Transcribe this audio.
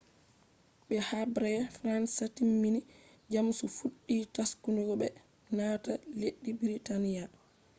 be habre fransa timmi jamus fuddi taskugo be naata leddi britania